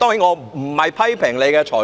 我並非批評你的裁決。